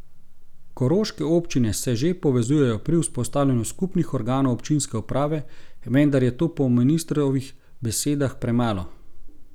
Koroške občine se že povezujejo pri vzpostavljanju skupnih organov občinske uprave, vendar je to po ministrovih besedah premalo.